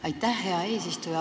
Aitäh, hea eesistuja!